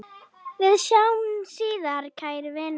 Við sjáumst síðar, kæri vinur.